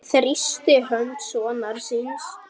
Hann þrýsti hönd sonar síns.